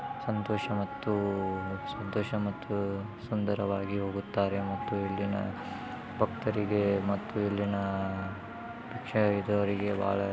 ಸಂತೋಷ ಮತ್ತು ಸಂತೋಷ ಮತ್ತೂ ಸುದಾರವಾಗಿ ಹೋಗುತ್ತಾರೆ ಮತ್ತು ಇಲ್ಲಿನ ಭಕ್ತರಿಗೆ ಮತ್ತು ಇಲ್ಲಿನ ಭಿಕ್ಷೆ ಇರೌರಿಗೆ ಭಾಳ --